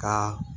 Ka